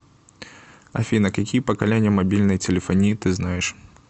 афина какие поколения мобильной телефонии ты знаешь